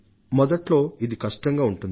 మొదట్లో ఇది కష్టంగా ఉంటుంది